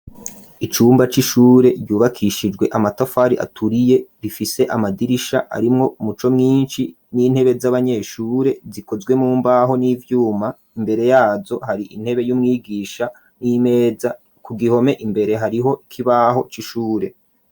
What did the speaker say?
Icumba c'ishure ryubakishijwe amatafari aturiye , rifise amadirisha arimwo muco mwinshi n'intebe z'abanyeshure zikozwe mumbaho, n'ivyuma imbere yazo, hari intebe y'umwigisha n'imeza ku gihome imbere hariho Ikibaho c'ishure.